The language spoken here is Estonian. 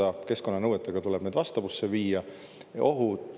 Need tuleb keskkonnanõuetega vastavusse viia.